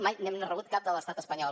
mai n’hem rebut cap de l’estat espanyol